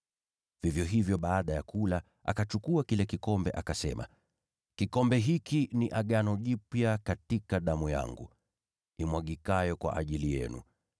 Vivyo hivyo baada ya kula, akakitwaa kikombe, akisema, “Kikombe hiki ni agano jipya katika damu yangu, imwagikayo kwa ajili yenu.